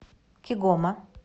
кигома